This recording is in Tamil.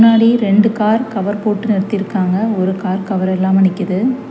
முன்னாடி ரெண்டு கார் கவர் போட்டு நிறுத்திருக்காங்க ஒரு கார் கவர் இல்லாம நிக்குது.